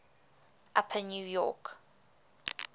upper new york